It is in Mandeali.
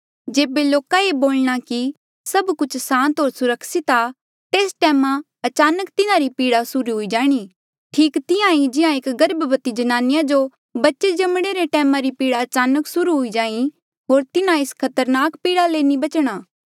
जेबे लोका ये बोलणा कि सभ कुछ सांत होर सुरक्षित आ तेस टैमा अचानक तिन्हारी पीड़ा सुर्हू हुई जाणी ठीक तिहां ईं जिहां एक गर्भवती जनानिया जो बच्चे जमणे रे टैमा री पीड़ा अचानक सुर्हू हुई जाहीं होर तिन्हा एस खरतनाक पीड़ा ले नी बचणा